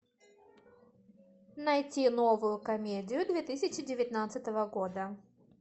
найти новую комедию две тысячи девятнадцатого года